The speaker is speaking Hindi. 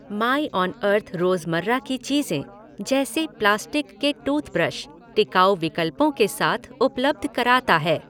माईऑनअर्थ रोज़मर्रा की चीज़ें, जैसे प्लास्टिक की टूथब्रश, टिकाऊ विकल्पों के साथ उपलब्ध कराता है।